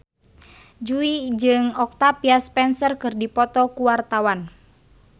Jui jeung Octavia Spencer keur dipoto ku wartawan